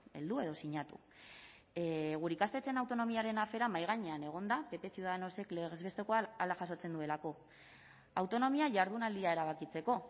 heldu edo sinatu gure ikastetxeen autonomiaren afera mahai gainean egonda pp ciudadanosek legez bestekoan hala jasotzen duelako autonomia jardunaldia erabakitzeko